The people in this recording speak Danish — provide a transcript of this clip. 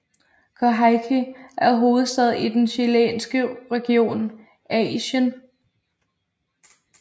Coyhaique er hovedstad i den chilenske region Aisén